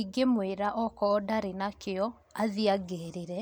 Ingĩmwĩra okoo ndarĩ nakĩo, athiĩ angĩrĩre,